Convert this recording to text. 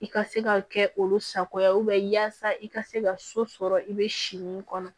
I ka se ka kɛ olu sago ye yasa i ka se ka so sɔrɔ i be si min kɔnɔ